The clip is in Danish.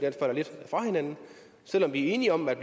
falder lidt fra hinanden selv om vi er enige om at